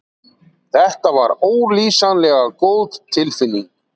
Þetta var ólýsanlega góð tilfinning.